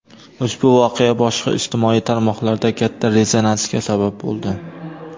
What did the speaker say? ushbu voqea boshqa ijtimoiy tarmoqlarda katta rezonansga sabab bo‘ldi.